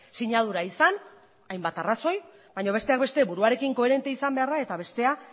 sinadura izan hainbat arrazoi baina besteak beste buruarekin koherentea izan behar da eta bestea